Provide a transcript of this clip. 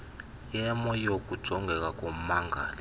yemo yokujongeka kommangali